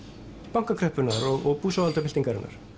bankakreppunnar og búsáhaldabyltingarinnar